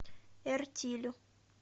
эртилю